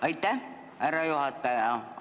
Aitäh, härra juhataja!